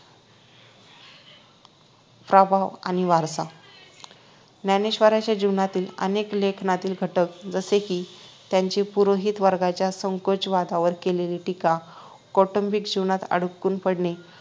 प्रभाव आणि वारसा ज्ञानेश्वरांच्या जीवनातील आणि लेखनातील घटक जसे कि त्यांनी पुरोहित वर्गाच्या संकोचवादावर केलेली टीका कौटुंबिक जीवनात अडकून पडणे